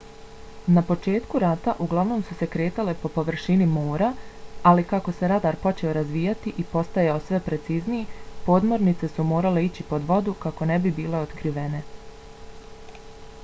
na početku rata uglavnom su se kretale po površini mora ali kako se radar počeo razvijati i postajao sve precizniji podmornice su morale ići pod vodu kako ne bi bile otkrivene